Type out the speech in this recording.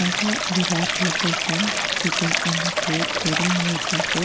also there are two persons sitting on the floor wearing white dresses.